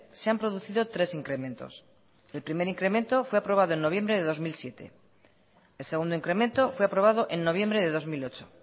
se han producido tres incrementos el primer incremento fue aprobado en noviembre de dos mil siete el segundo incremento fue aprobado en noviembre de dos mil ocho